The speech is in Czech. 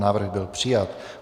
Návrh byl přijat.